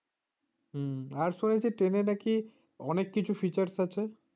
আর শুনেছি train নাকি অনেক কিছু features আছে।